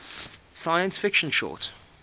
science fiction short